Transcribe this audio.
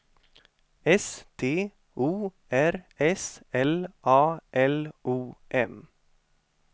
S T O R S L A L O M